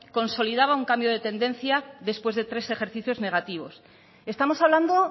consolidaba un cambio de tendencia después de tres ejercicios negativos estamos hablando